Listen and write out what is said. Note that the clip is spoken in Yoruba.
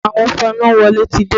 Àwọn fanáwọlé ti dé